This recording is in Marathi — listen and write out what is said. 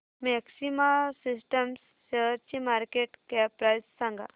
मॅक्सिमा सिस्टम्स शेअरची मार्केट कॅप प्राइस सांगा